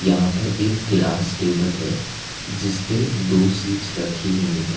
यहाँ पर एक गिलास टेबल हैं जिस पे दो सीट्स रखी हुई हैं।